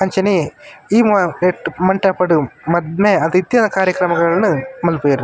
ಅಂಚನೆ ಈ ಮ ನೆಟ್ಟ್ ಮಂಟಪಡ್ ಮದ್ಮೆ ಅತ್ತ್ ಇತ್ತಿನ ಕಾರ್ಯಕ್ರಮಗಳೆನ್ ಮನ್ಪುವೆರ್.